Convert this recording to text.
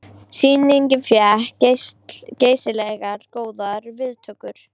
Sýningin fékk geysilega góðar viðtökur